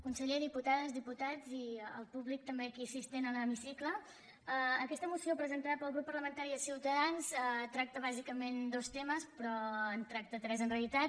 conseller diputades diputats i el públic també aquí assistent a l’hemicicle aquesta moció presentada pel grup parlamentari de ciutadans tracta bàsicament dos temes però en tracta tres en realitat